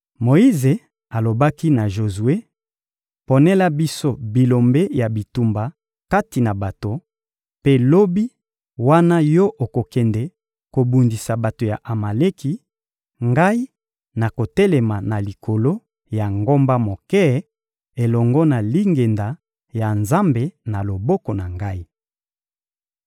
Moyize alobaki na Jozue: — Ponela biso bilombe ya bitumba kati na bato; mpe lobi; wana yo okende kobundisa bato ya Amaleki, ngai nakotelema na likolo ya ngomba moke elongo na lingenda ya Nzambe na loboko na ngai.